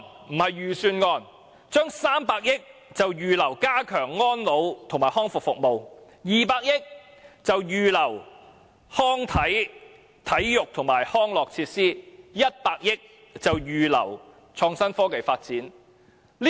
政府預留300億元加強安老和康復服務；預留200億元提供體育和康樂設施；預留100億元作創新科技發展。